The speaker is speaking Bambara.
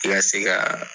I ka se ka